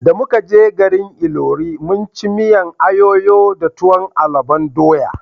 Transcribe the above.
Da muka je garin Ilori mun ci miyan ayoyo da tuwon alubon doya